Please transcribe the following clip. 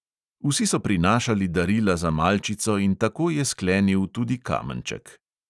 Vsi so prinašali darila za malčico in tako je sklenil tudi kamenček.